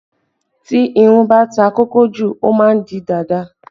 Tí irun bá ta kókó jù, ó má ń di dàda